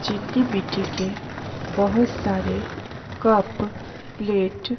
चिनी मिट्टी के बहुत सारे कप प्लेट --